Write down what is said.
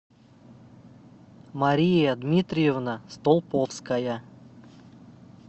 мария дмитриевна столповская